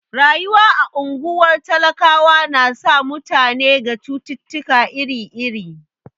Rayuwa a ungwar talakawa na sa mutane ga cututtuka iri iri.